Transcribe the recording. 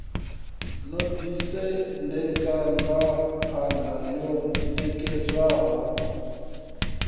no ḓisendeka ngamapa wo ṋekedzwaho